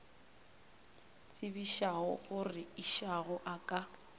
tsebišago gore išago a ka